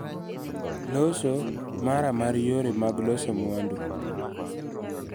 Loso mara mar yore mag loso mwandu